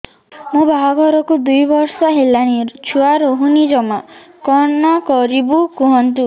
ମୋ ବାହାଘରକୁ ଦୁଇ ବର୍ଷ ହେଲାଣି ଛୁଆ ରହୁନି ଜମା କଣ କରିବୁ କୁହନ୍ତୁ